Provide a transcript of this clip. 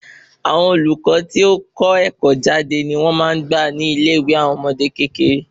Àwọn olùkọ tí o tí kọ́ ẹkọ jade ni wón máa n gbà ni ilé ìwé àwọn ọmọdé kékeré